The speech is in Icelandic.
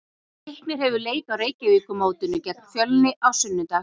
Leiknir hefur leik á Reykjavíkurmótinu gegn Fjölni á sunnudag.